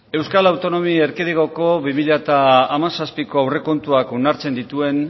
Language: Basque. euskal autonomi erkidegoko bi mila hamazazpiko aurrekontuak onartzen dituen